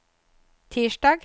tirsdag